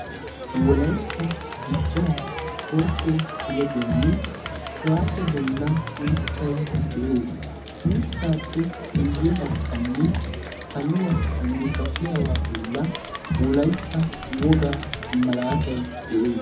Wolaytta dichchaa isportte kileebbiyan kuwaase bollan uuttay de'ees. Uttaappe guyye bagganni saluwa misatiyaba bolla wolaytta wogaa malaatay de'ees.